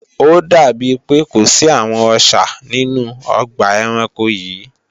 Ó dàbí pé kò sí àwọn Ọṣà nínú ọgbà ẹranko yìí